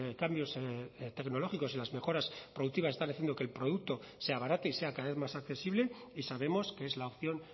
cambios tecnológicos y las mejoras productivas están haciendo que el producto se abarate y sea cada vez más accesible y sabemos que es la opción